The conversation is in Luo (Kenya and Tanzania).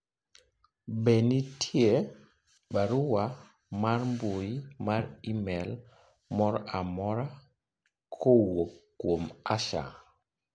be nitie barua mar mbui mar email mor amora kowuok kuom Asha